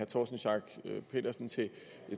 torsten schack pedersen til